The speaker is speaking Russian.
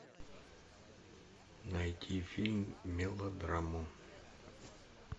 найти фильм мелодраму